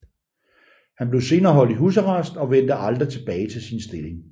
Han blev senere holdt i husarrest og vendte aldrig tilbage til sin stilling